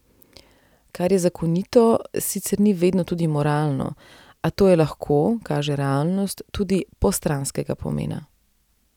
Kar je zakonito, sicer ni vedno tudi moralno, a to je lahko, kaže realnost, tudi postranskega pomena.